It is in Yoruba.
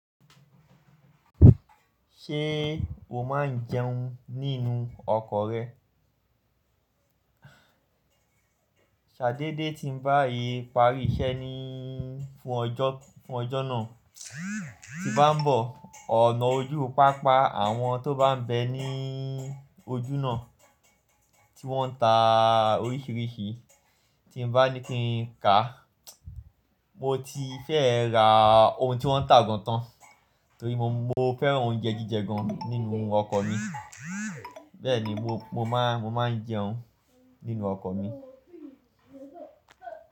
Ṣé o máa ń jẹun nínú ọkọ̀ rẹ? Ṣadé dé tí ń bá yii parí iṣẹ́ ní fún ọjọ́, fún ọjọ́ náà tí bá ń bọ̀. Ọ̀nà ojú pápá, àwọn tó bá ń bẹ ní ojú náà tí wọ́n ń ta oríṣiríṣi tí ń bá ní kí ń kà. Mo ti fẹ́ ra ohun tí wọ́n ń tà gan tán torí mo, mo fẹ́ràn oúnjẹ jíjẹ gan nínú ọkọ̀ mi. Bẹ́ẹ̀ ni mo, mo máa, mo máa ń jẹun nínú ọkọ̀ mi.